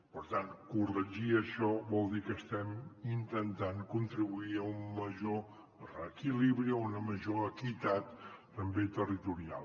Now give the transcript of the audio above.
per tant corregir això vol dir que estem intentant contribuir a un major reequilibri a una ma·jor equitat també territorial